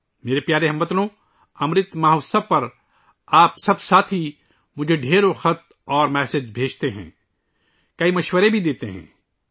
میرے پیارے ہم وطنو، امرت مہوتسو پر، آپ سب ساتھی مجھے بہت سے خطوط اور پیغامات بھیجتے ہیں، بہت سے مشورے بھی دیتے ہیں